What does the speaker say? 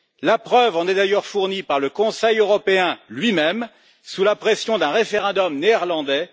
La preuve en est d'ailleurs fournie par le Conseil européen lui même sous la pression d'un référendum néerlandais.